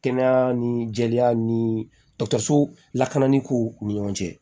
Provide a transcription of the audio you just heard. Kɛnɛya ni jɛya ni dɔ sow lakanaliw ni ɲɔgɔn cɛ